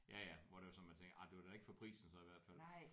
Ja ja hvor det var sådan man tænker ah det var da ikke for prisen så i hvert fald